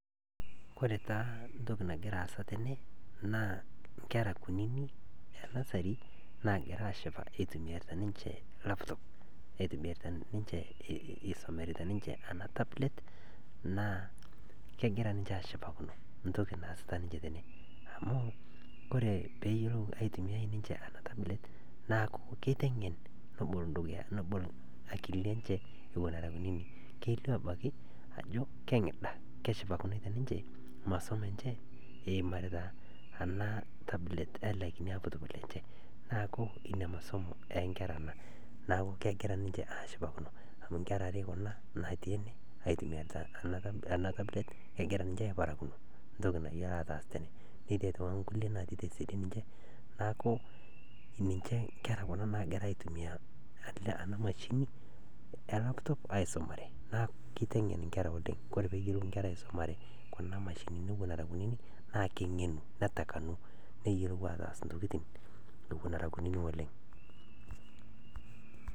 Kore taa ntoki nagira aasa tene naa nketa kunini e nursery naagira aashipa eitumiyarita ninche laptop eisomareita ninche ana tablet naa kegira ninche aashipakino ntoki naasita ninche tene amu kore peeyuolou aitumiyai ninche ana tablet naaku keiteng'en nobol akilini enche era kunini. Kelio abaki ako keshipakino ninche masomo enche eimarita ana tablet e ale kini laptop naaku inia masomo ee nkera ana. Naaku kegira ninche aashipakino amu nkera are kuna naatii ene aitumiya ana tablet kegira ninche aiparakino ntoki nayuolo aataas tene. Netii sii aitoki nkulie naatii tesiadi ninche naaku nkera kuna naagira aitumiya kuna mashinini e laptop aisomare naaku keiteng'en nkera oleng'. Kore peeyuolou nkera aisomare kuna mashinini era kunini naa kenge'enu netakanu neyuolou aataas ntokitin ewuon era kunini oleng'.